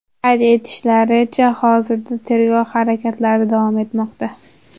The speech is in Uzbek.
Qayd etishlaricha, hozirda tergov harakatlari davom etmoqda.